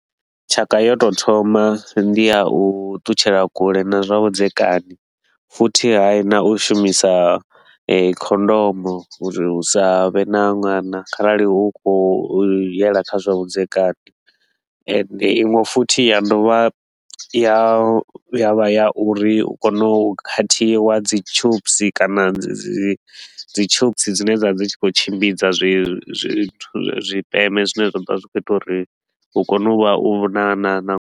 Tshaka yo tou thoma ndi ya u ṱutshela kule na zwavhudzekani, futhi hai na u shumisa khondomu uri hu sa vhe na ṅwana kharali u khou yela kha zwavhudzekani. Ende inwe futhi ya dovha ya vha ya uri u kone u khathiwa dzi tubes kana dzi dzi tubes dzine dza vha dzi tshi khou tshimbidza zwi zwi zwithu zwipeme zwine zwa dovha zwi khou ita uri hu kone u vha na na na.